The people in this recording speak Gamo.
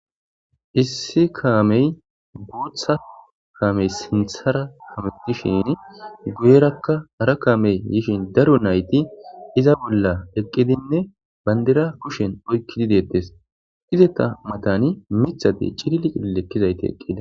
Issi kame guta kame sintara hametishini guyeraka hara kame yishin daro nayiti iza bola eqidinne bandira kushshen oyikidi detes izeta matani mitati cilili cililidi likidayiti utida.